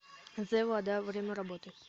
зэ вода время работы